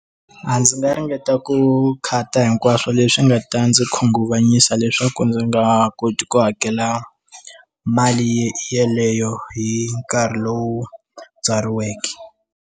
A ndzi nga ringeta ku khata hinkwaswo leswi nga ta ndzi khunguvanyisa leswaku ndzi nga koti ku hakela mali yeleyo hi nkarhi lowu byariweke.